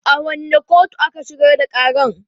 A wanne kotu aka shigar da ƙaran?